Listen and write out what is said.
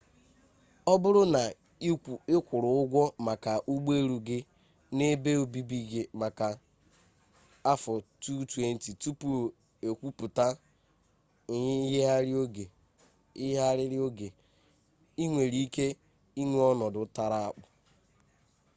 ọ bụrụ na ị kwụrụ ụgwọ maka ụgbọelu gị na ebe obibi gị maka 2020 tupu ekwuputa myigharịrị oge i nwere ike inwe ọnọdụ tara akpụ